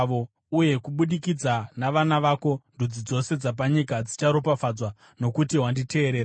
uye kubudikidza navana vako ndudzi dzose dzapanyika dzicharopafadzwa, nokuti wakanditeerera.”